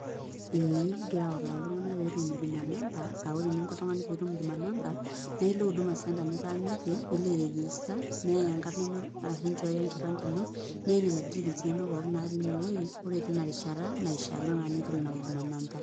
Ee kigira autaa iltung'anak pee etum huduma number aa ore eninko oltung'ani pee etum huduma number naa ilo Huduma Center nitaaniki nilo airegister neyai enkarana ino ashu inchooyo enkipande ino neyai nena details inonok pookin naatii ine wuei ore tina rishata naishiakino naa pee itum ina huduma number.